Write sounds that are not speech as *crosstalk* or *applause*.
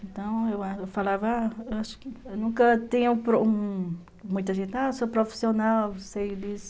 Então, eu falava, *unintelligible* eu acho que nunca tinha um... Muita gente, ah, eu sou profissional, sei disso.